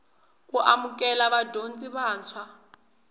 ku amukela vadyondzi vantshwa